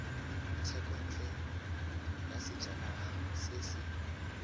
thekontle ya sejanaga se se